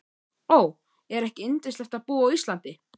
Ó, er ekki yndislegt að búa á Íslandi?